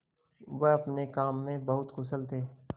वह अपने काम में बड़े कुशल थे